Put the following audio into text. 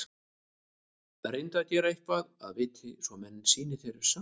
Reyndu að gera eitthvað að viti, svo menn sýni þér samúð.